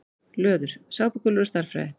Löður: Sápukúlur og stærðfræði.